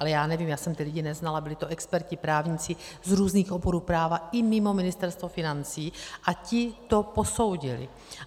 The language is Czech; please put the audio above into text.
Ale já nevím, já jsem ty lidi neznala, byli to experti, právníci z různých oborů práva i mimo Ministerstvo financí a ti to posoudili.